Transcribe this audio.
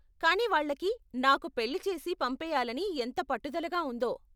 కానీ వాళ్ళకి నాకు పెళ్లి చేసి పంపేయాలని ఎంత పట్టుదలగా ఉందో.